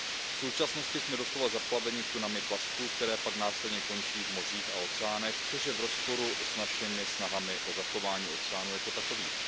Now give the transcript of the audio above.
V současnosti jsme doslova zaplaveni tunami plastů, které pak následně končí v mořích a oceánech, což je v rozporu s našimi snahami o zachování oceánů jako takových.